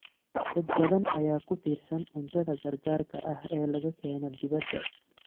Dad badan ayaa ku tiirsan cuntada gargaarka ah ee laga keeno dibadda.